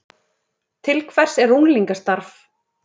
Til hvers er unglingastarf